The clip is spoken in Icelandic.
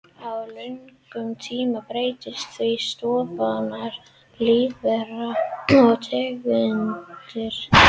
Á löngum tíma breytast því stofnar lífvera og tegundir.